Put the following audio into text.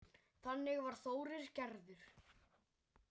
Þannig var Þórir gerður.